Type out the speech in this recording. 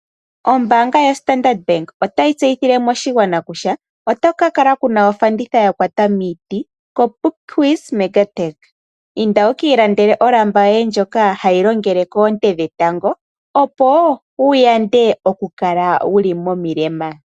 Ombaanga yaStandard Bank otayi tseyithile oshigwana kutya otaku ka kala ku na ofanditha ya kwata miiti koPupkewitz Mega Tech. Inda wu ka ilandele olamba yoye ndjoka ha yi longele koonte dhetango opo wu yande okukala wu li momilema.